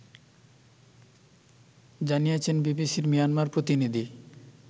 জানিয়েছেন বিবিসি’র মিয়ানমার প্রতিনিধি